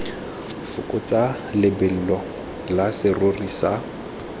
fokotsa lebelo la serori sa